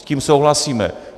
S tím souhlasíme.